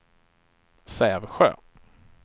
Sävsjö